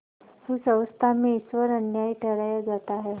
उस अवस्था में ईश्वर अन्यायी ठहराया जाता है